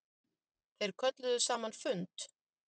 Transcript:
Þeir kölluðu saman fund.